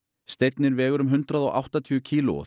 steinninn vegur um hundrað og áttatíu kíló og